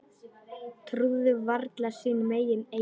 Trúðu varla sínum eigin eyrum.